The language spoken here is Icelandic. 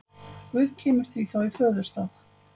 Guð kemur því þá í föðurstað.